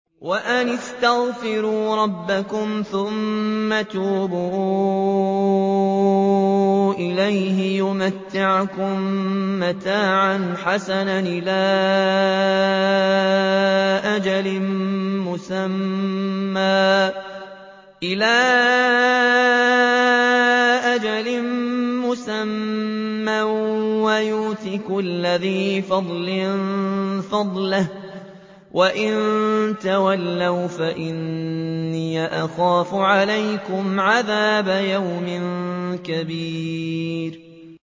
وَأَنِ اسْتَغْفِرُوا رَبَّكُمْ ثُمَّ تُوبُوا إِلَيْهِ يُمَتِّعْكُم مَّتَاعًا حَسَنًا إِلَىٰ أَجَلٍ مُّسَمًّى وَيُؤْتِ كُلَّ ذِي فَضْلٍ فَضْلَهُ ۖ وَإِن تَوَلَّوْا فَإِنِّي أَخَافُ عَلَيْكُمْ عَذَابَ يَوْمٍ كَبِيرٍ